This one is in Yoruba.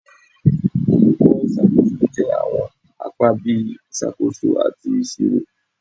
Olukọ iṣakoso jẹ awọn apa bii Isakoso ati Iṣiro